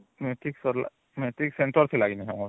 metric ସରିଲା metric centre ଥିଲା କି ନାଇଁ ଆମର